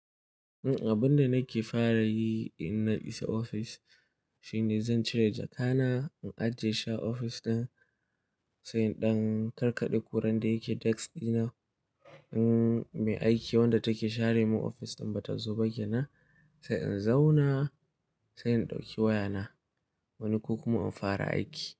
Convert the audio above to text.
Abin da nake fara yi in na isa ofis shine zan cire jaka na, in ajiye shi a ofis ɗin, sai in ɗan karkaɗe kuran da yake desk ɗina. In mai aiki wadda take share mun ofis ɗin bata zo ba ke nan, sai in zauna, sai in ɗauki wayana wani ko kuma in fara aiki.